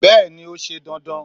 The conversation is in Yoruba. bẹẹni, o sẹ dandan